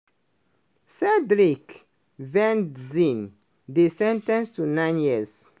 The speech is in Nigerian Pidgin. cendric venzin dey sen ten ced to nine years.